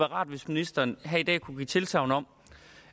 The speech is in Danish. rart hvis ministeren her i dag kunne give tilsagn om